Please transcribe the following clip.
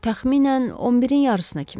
Təxminən 11-in yarısına kimi.